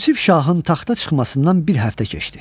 Yusif şahın taxta çıxmasından bir həftə keçdi.